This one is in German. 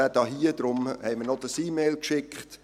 Deshalb haben wir die erwähnte E-Mail verschickt.